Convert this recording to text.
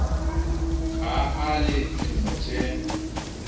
ha a le dilemo tse